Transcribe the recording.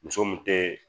Muso mun tɛ